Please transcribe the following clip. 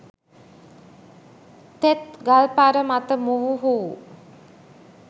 තෙත් ගල්පර මත මොවුහු